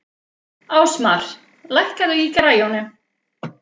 Ásmar, lækkaðu í græjunum.